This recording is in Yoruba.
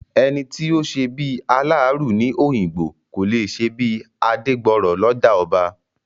Ẹni tí ò ṣebí aláàárù ní Òyìngbò, kò lè ṣebí Adégbọrọ̀ lọ́jà ọba.